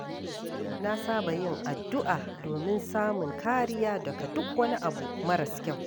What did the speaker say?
Na saba yin addu’a domin samun kariya daga duk wani abu maras kyau.